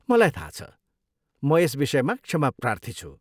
मलाई थाहा छ! म यस विषयमा क्षमाप्रार्थी छु।